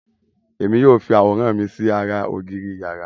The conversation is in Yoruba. èmi yíò fí aworan mí sí àrà ògiri iyàrá.